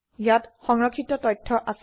ইয়াত সংৰক্ষিত তথ্য আছে